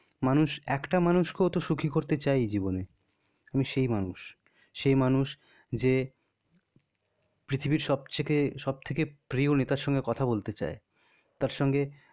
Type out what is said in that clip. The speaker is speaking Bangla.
মানুষ একটা মানুষ কেউ তো সুখি করতে চাই জীবনে। আমি সেই মানুষ সেই মানুষ যে, পৃথিবীর সবচেয়ে সবথেকে প্রিয় নেতার সঙ্গে কথা বলতে চাই. তার সঙ্গে,